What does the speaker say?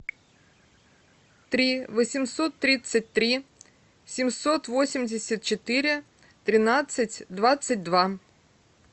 три восемьсот тридцать три семьсот восемьдесят четыре тринадцать двадцать два